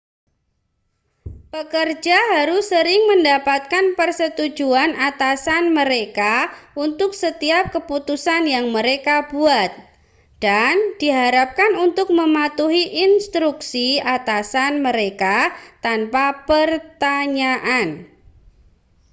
pekerja harus sering mendapatkan persetujuan atasan mereka untuk setiap keputusan yang mereka buat dan diharapkan untuk mematuhi instruksi atasan mereka tanpa pertanyaan